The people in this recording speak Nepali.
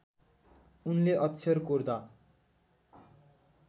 उनले अक्षर कोर्दा